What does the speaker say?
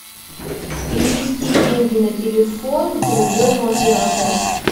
перевести деньги на телефон другому оператору